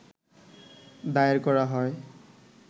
দায়ের করা হয়